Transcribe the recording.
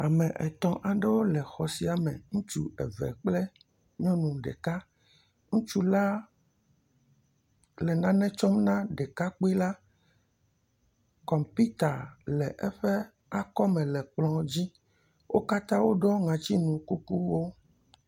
Ame etɔ̃ aɖewo le xɔ sia me. Ŋutsu eve kple nyɔnu ɖeka, ŋutsu la le nane tsɔm na ɖekakpui la. Kɔmpita le eƒe akɔme le kplɔ dzi. Wo katã woɖɔ ŋɔtinu kukuwo.